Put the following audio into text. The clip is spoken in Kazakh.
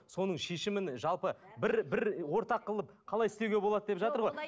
соның шешімін жалпы бір бір ортақ қылып қалай істеуге болады деп жатыр ғой